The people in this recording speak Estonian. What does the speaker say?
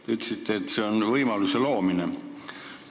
Te ütlesite, et see on võimaluse loomine.